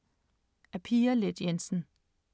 Af Pia Leth Jensen